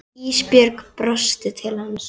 Ísbjörg brosti til hans.